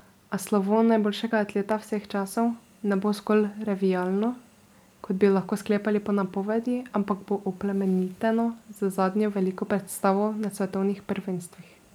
A slovo najboljšega atleta vseh časov ne bo zgolj revijalno, kot bi lahko sklepali po napovedi, ampak bo oplemeniteno z zadnjo veliko predstavo na svetovnih prvenstvih.